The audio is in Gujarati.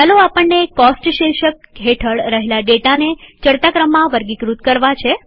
ચાલોઆપણને કોસ્ટ શીર્ષક હેઠળ રહેલા ડેટાને ચડતા ક્રમમાં વર્ગીકૃત કરવા છે